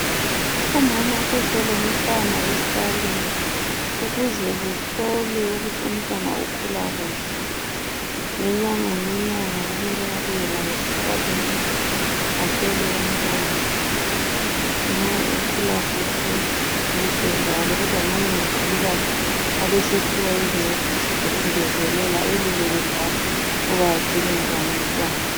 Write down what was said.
Umama uze lomntwana esikalini ukuze kuhlolwe ukuthi umntwana ukhula kuhle, ngenyanga ngenyanga kumele abuye laye esikalini ahlolwe umntwana nxa ekhula kuhle kuhle njalo kodwa nxa engakhuli kahle abesephiwa izincediso zokungezelela eluleke njalo ukuba agcine njani umntwana.